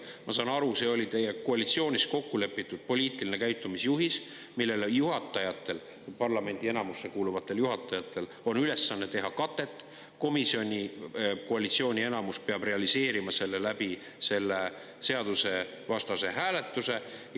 Ma saan aru, see oli teie koalitsioonis kokku lepitud poliitiline käitumisjuhis, millele juhatajatel, parlamendi enamusse kuuluvatel juhatajatel on ülesanne teha katet, komisjonis peab koalitsiooni enamus realiseerima selle seadusvastase hääletuse kaudu.